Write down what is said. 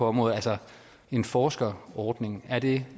området altså en forskerordning er det